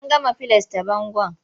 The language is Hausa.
An gama filasce bangon.